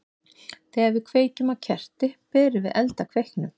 Þegar við kveikjum á kerti berum við eld að kveiknum.